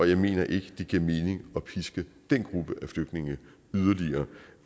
jeg mener ikke det giver mening at piske den gruppe af flygtninge yderligere